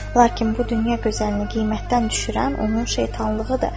Lakin bu dünya gözəlinin qiymətdən düşürən onun şeytanlığıdır.